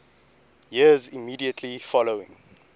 years immediately following